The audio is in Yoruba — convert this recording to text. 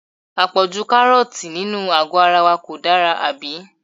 À pọ̀jù Kárọ́ọ̀tì nínú àgó ara wa kò dára, àbí?